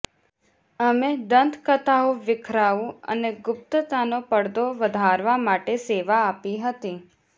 અમે દંતકથાઓ વીખરાવું અને ગુપ્તતાના પડદો વધારવા માટે સેવા આપી હતી